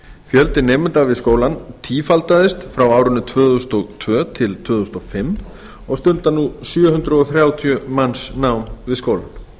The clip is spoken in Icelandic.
fjöldi nemenda við skólann tífaldaðist frá árinu tvö þúsund og tvö til tvö þúsund og fimm og stunda nú um sjö hundruð þrjátíu manns nám við skólann